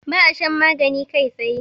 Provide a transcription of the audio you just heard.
ba a shan magani kai tsaye